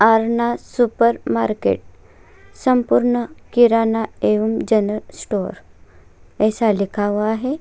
Aarna super market संपूर्ण किराना एवं जनरल स्टोर ऐसा लिखा हुआ है।